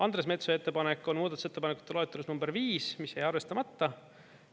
Andres Metsoja ettepanek on muudatusettepanekute loetelus number 5, mis jäi arvestamata.